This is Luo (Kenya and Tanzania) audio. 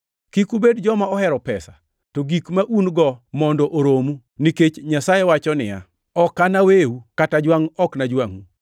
Kik ubed joma ohero pesa, to gik ma un-go mondo oromu, nikech Nyasaye wacho niya, “Ok anaweu kata jwangʼ ok anajwangʼu” + 13:5 \+xt Rap 31:6\+xt*